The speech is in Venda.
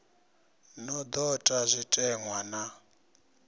no do ta zwitenwa na